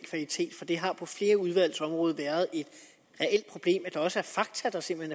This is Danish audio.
for det har på flere udvalgsområder været et reelt problem at der også er fakta der simpelt